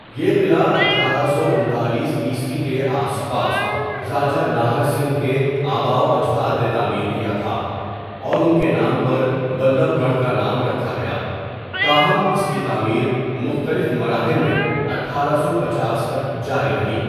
یہ قلعہ اٹھارہ سو انتالیس عیسوی کے آس پاس راجہ ناہر سنگھ کے آباؤ اجداد نے تعمیر کیا تھا، اور ا نکے نام پر بلب گڑھ کا نام رکھا گیا، تاہم اس کی تعمیر مختلف مراحل میں اٹھارہ سو پنچاس تک جاری رہی۔